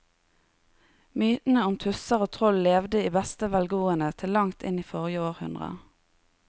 Mytene om tusser og troll levde i beste velgående til langt inn i forrige århundre.